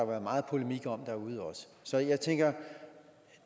været meget polemik om derude så jeg tænker at